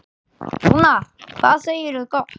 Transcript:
Rúnar, hvað segirðu gott?